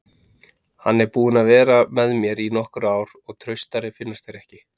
Hann er búinn að vera með mér í nokkur ár og traustari finnast þeir ekki.